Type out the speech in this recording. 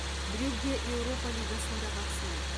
брюгге еуропа лигасында бақ сынайды